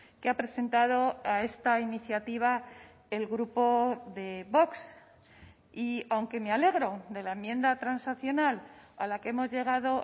que ha presentado a esta iniciativa el grupo de vox y aunque me alegro de la enmienda transaccional a la que hemos llegado